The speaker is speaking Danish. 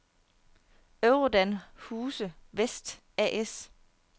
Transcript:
Eurodan-Huse Vest A/S